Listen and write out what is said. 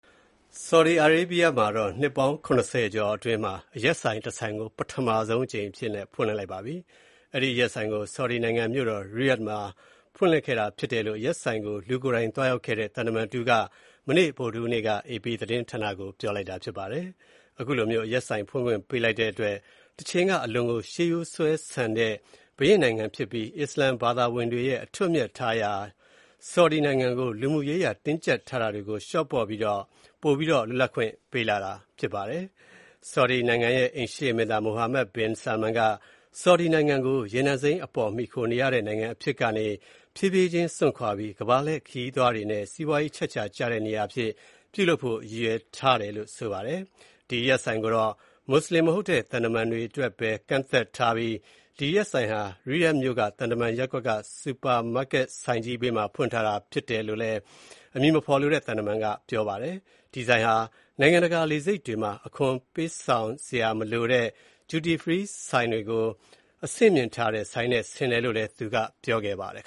ဆော်ဒီအာရေဗျနိုင်ငံမှာ နှစ်ပေါင်း ၇၀ ကျော် အတွင်းမှာ အရက်ဆိုင်တဆိုင်ကို ပထမဆုံးအကြိမ် ဖွင့်လှစ်လိုက်ပါတယ်။ အဲဒီအရက်ဆိုင်ကို ဆော်ဒီနိုင်ငံမြို့တော် ရီယာ့ဒ်မြို့မှာ ဖွင့်လှစ်ခဲ့တာဖြစ်တယ်လို့ အရက်ဆိုင်ကို လူကိုယ်တိုင်သွားရောက်ခဲ့တဲ့ သံတမန်တဦးက မနေ့ ဗုဒ္ဓဟူးနေ့က AP သတင်းဌာနကို ပြောလိုက်တာဖြစ်ပါတယ်။ အခုလိုမျိုး အရက်ဆိုင်ဖွင့်ခွင့်ပေးလိုက်တဲ့အတွက် တချိန်က အလွန်ကိုရှေးရိုစွဲဆန်တဲ့ ဘုရင်နိုင်ငံဖြစ်ပြီး အစ္စလာမ်ဘာသာဝင်တွေရဲ့ အထွတ်အမြတ်ထားရာ နေရာတွေရှိရာ ဆော်ဒီနိုင်ငံကို လူမှုရေးအရ တင်းကြပ်ထားတာတွေကို လျှော့ပေါ့ပြီး ပိုပြီးတော့ လွတ်လပ်ခွင့်ပေးလာတာ ဖြစ်ပါတယ်။ ဆော်ဒီနိုင်ငံရဲ့ အိမ်ရှေ့မင်းသား Mohammed bin Salman က ဆော်ဒီနိုင်ငံကို ရေနံအပေါ်မီခိုနေရတဲ့ နိုင်ငံအဖြစ်ကနေ ဖြည်းဖြည်းချင်း စွန့်ခွါပြီး ကမ္ဘာလှည့်ခရီးသွားတွေနဲ့ စီးပွားရေးအချက်အချာကျတဲ့နေရာအဖြစ် ပြုလုပ်ဖို့ ရည်ရွယ်ထားပါတယ်။ အရက်ဆိုင်ကိုတော့ မွတ်စလင်မဟုတ်တဲ့ သံတမန်တွေအတွက်ပဲ ကန့်သတ်ထားပြီး၊ ဒီအရက်ဆိုင်ဟာ ရီယာ့ဒ်မြို့က သံတမန်ရပ်ကွက်က စူပါမားကတ်ဆိုင်ကြီးဘေးမှာဖွင့်ထားတာဖြစ်တယ်လို့ အဲဒီအမည်မဖော်လိုတဲ့သံတမန်ကပြောပါတယ်။ ဒီဆိုင်ဟာနိုင်ငံတကာ လေဆိပ်တွေမှာ အခွန်ပေးဆောင်စရာမလိုတဲ့ duty free ဆိုင်တွေကို အဆင့်မြင့်ထားတဲ့ ဆိုင်နဲ့ ဆင်တယ်လို့လည်း သူကပြောပါတယ်။